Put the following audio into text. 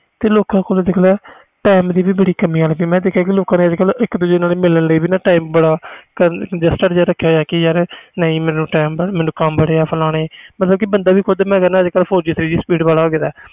ਤੇ ਲੋਕਾਂ ਕੋਲ ਦੀ ਵੀ ਬਹੁਤ ਕਮੀ ਹੋ ਗਈ ਅਜੇ ਕਲ ਲੋਕਾਂ ਨੇ ਮਿਲਣ ਲਈ time ਰਖਿਆ ਹੋਇਆ ਆ ਨਹੀਂ ਮੈਨੂੰ ਕਮ ਬੜੇ ਆ ਮੈਂ ਕਹਿਣਾ ਬੰਦਾ ਵੀ four G speed ਵਾਲਾ ਹੋ ਗਿਆ